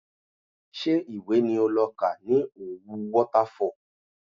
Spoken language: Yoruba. Ṣé ìwé ni o lọ kà ní Òwu Waterfall?